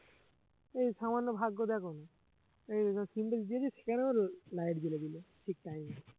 এই সামান্য ভাগ্য দেখ না, এই যেখানে signal দিয়েছি সেখানেও light জ্বালিয়ে দিল ঠিক time এ